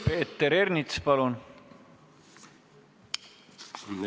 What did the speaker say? Peeter Ernits, palun!